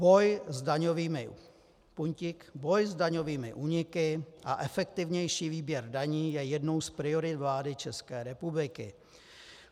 Boj s daňovými úniky a efektivnější výběr daní je jednou z priorit vlády České republiky.